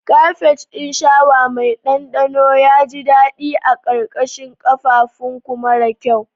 Kafet ɗin shawa mai ɗanɗano ya ji daɗi a ƙarƙashin ƙafãfunku mara kyau.